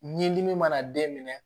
Ɲɛdimi mana den minɛ